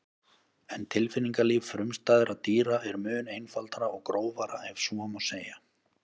En tilfinningalíf frumstæðra dýra er mun einfaldara og grófara ef svo má segja.